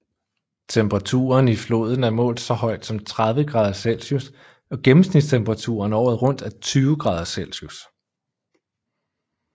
Temperaturen i floden er målt så højt som 30o celsius og gennemsnitstemperaturen året rundt er 20oC